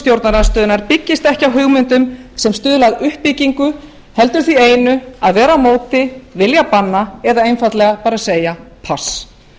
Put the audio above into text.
stjórnarandstöðunnar byggist ekki á hugmyndum sem stuðla að uppbyggingu heldur því einu að vera á móti vilja banna eða einfaldlega segja pass